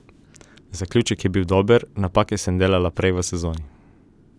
Zaključek je bil dober, napake sem delala prej v sezoni.